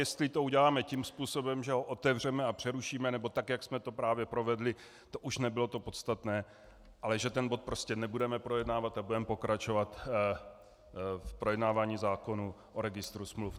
Jestli to uděláme tím způsobem, že ho otevřeme a přerušíme, nebo tak, jak jsme to právě provedli, to už nebylo to podstatné, ale že ten bod prostě nebudeme projednávat a budeme pokračovat v projednávání zákonu o Registru smluv.